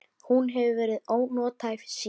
Hún hefur verið ónothæf síðan.